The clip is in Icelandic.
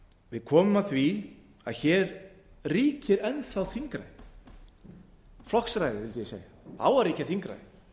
við komum að því að hér ríkir enn þá þingræði flokksræði vildi ég segja það á að ríkja